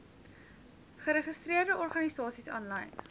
geregistreerde organisasies aanlyn